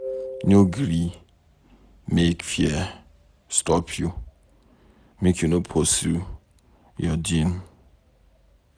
No gree make fear stop you, make you no pursue your dream.